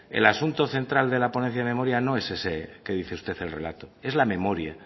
el asunto central de la ponencia de memoria no es ese que dice usted el relato es la memoria